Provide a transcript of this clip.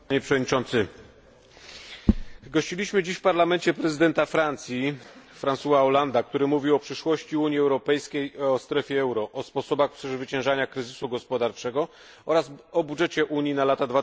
Panie Przewodniczący! Gościliśmy dziś w Parlamencie prezydenta Francji François Hollande'a, który mówił o przyszłości Unii Europejskiej i strefie euro, o sposobach przezwyciężania kryzysu gospodarczego oraz budżecie Unii na lata